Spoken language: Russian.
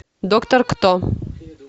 доктор кто